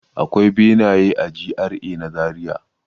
Akwai benaye a GRA na Zariya.